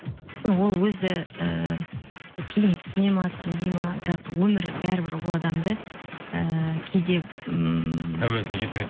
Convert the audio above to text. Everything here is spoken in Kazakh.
ол өзі ііі кейін түсінеді ме түсінбейді ме бірақ өмір бәрібір ол адамды ііі кейде ммм тәубесіне келтіреді